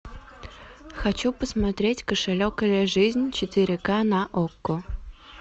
хочу посмотреть кошелек или жизнь четыре ка на окко